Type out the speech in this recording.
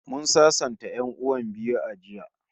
Mun sasanta 'yan'uwan biyu a jiya